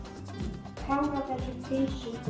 Kláraðu þessa pylsu.